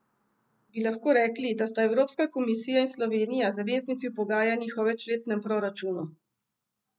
Bi lahko rekli, da sta Evropska komisija in Slovenija zaveznici v pogajanjih o večletnem proračunu?